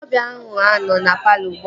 Ndị ọbịa ahụ anọ na palọ ugbua?